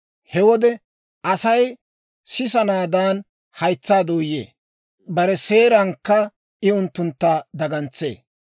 He wode Asay sisanaadaan haytsaa dooyee; bare seerankka I unttuntta dagantsee.